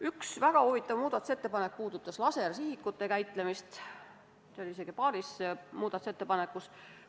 Üks väga huvitav muudatusettepanek puudutas lasersihikute käitlemist, seda oli mainitud isegi paaris muudatusettepanekus.